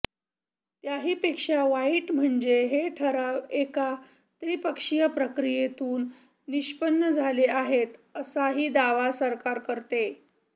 त्याहीपेक्षा वाईट म्हणजे हे ठराव एका त्रिपक्षीय प्रक्रियेतून निष्पन्न झाले आहेत असाही दावा सरकार करते